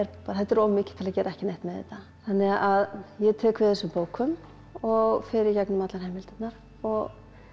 þetta er of mikið til að gera ekki neitt með þetta þannig að ég tek við þessum bókum og fer í gegnum allar heimildirnar og